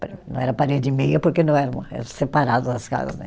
Não era parede e meia porque não eram, eh separadas as casas né.